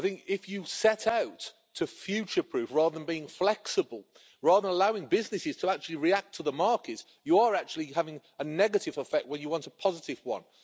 If you set out to future proof, rather than being flexible, and rather than allowing businesses to react to the market, you are actually having a negative effect when you want a positive one.